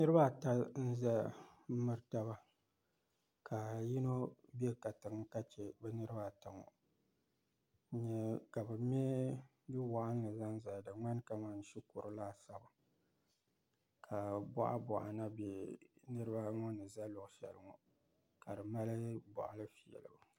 niriba ata n zaya m-miri taba ka yino be katiŋa ka che niriba ata ŋɔ ka be me du' waɣinli zaŋ zali di ŋmani kamani shikuru laasabu ka bɔɣabɔɣa na be nirba ŋɔ ni za luɣ' shɛli ŋɔ ka di mali bɔɣili fiilibu